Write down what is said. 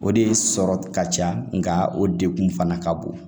O de sɔrɔ ka ca nka o degun fana ka bon